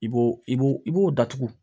I b'o i bo i b'o datugu